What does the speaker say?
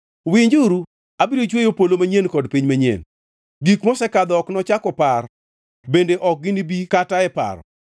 “Winjuru, abiro chweyo polo manyien kod piny manyien. Gik mosekadho ok nochak opar bende ok ginibi kata e paro.